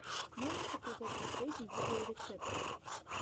можешь показать последние видеорецепты